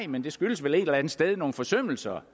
men det skyldes vel et eller andet sted at nogle forsømmelser